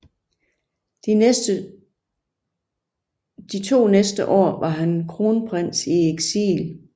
De to næste år var han kronprins i eksil